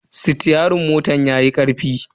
Sitiyerin motan yayi karfi.